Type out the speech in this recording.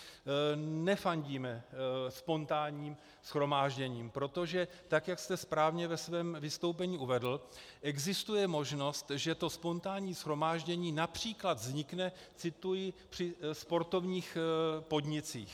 Nefandíme spontánním shromážděním, protože tak jak jste správně ve svém vystoupení uvedl, existuje možnost, že to spontánní shromáždění například vznikne - cituji - při sportovních podnicích.